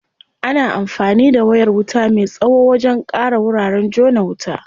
Ana anfani da wayar wuta me tsawo wajen ƙara wuraren jona wuta.